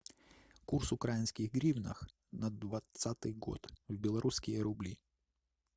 курс украинских гривнах на двадцатый год в белорусские рубли